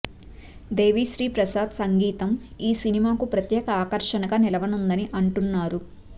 దేవిశ్రీ ప్రసాద్ సంగీతం ఈ సినిమాకి ప్రత్యేక ఆకర్షణగా నిలవనుందని అంటున్నారు